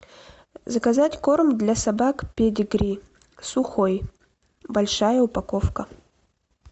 заказать корм для собак педигри сухой большая упаковка